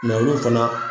olu fana